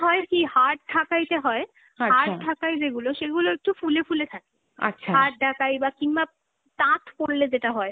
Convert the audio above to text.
হয় কী, hard ঢাকাইতে হয় , hard যেগুলো সেগুলো একটু ফুলে ফুলে থাকে, hard ঢাকাই বা কিংবা তাঁত পরলে যেটা হয়